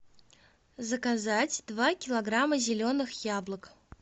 заказать два килограмма зеленых яблок